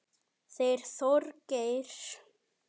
Þeir Þorgeir